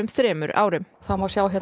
þremur árum það má sjá